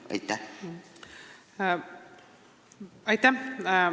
Aitäh!